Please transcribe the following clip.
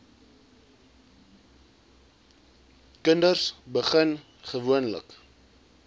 kinders begin gewoonlik